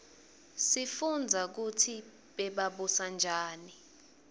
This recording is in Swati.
sifunbza kutsi bebabusa njani